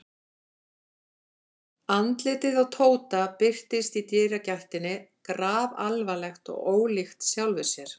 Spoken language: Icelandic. Andlitið á Tóta birtist í dyragættinni grafalvarlegt og ólíkt sjálfu sér.